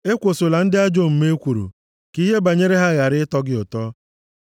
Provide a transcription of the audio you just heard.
Ekwosola ndị ajọ omume ekworo, ka ihe banyere ha ghara ịtọ gị ụtọ.